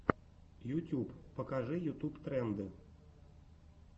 ютюб покажи ютуб тренды